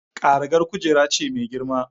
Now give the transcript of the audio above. Karagar kujera ce mai girma.